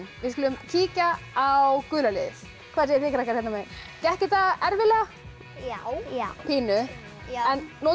við skulum kíkja á gula liðið hvað segið þið krakkar hérna megin gekk þetta erfiðlega já notuðu